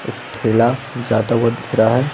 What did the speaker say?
एक ठेला जाता हुआ दिख रहा है।